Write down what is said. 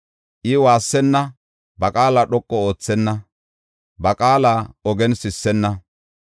I waassenna; ba qaala dhoqu oothenna ba qaala ogen sissenna.